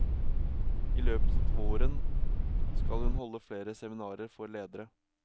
I løpet av våren skal hun holde flere seminarer for ledere.